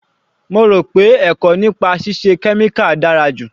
Mo rò pé ẹ̀kọ́ nípa ṣíṣe kẹ́míkà dára ju.